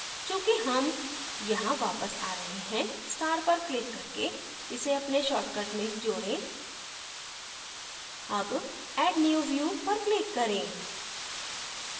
चूंकि हम यहां वापस a रहे हैं star पर click करके इसे अपने shortcuts में जोडें अब add new view पर click करें